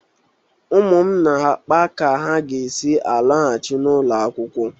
Ụmụ m na-akpa ka ha ga-esi lọghachi n'ụlọ akwụkwọ.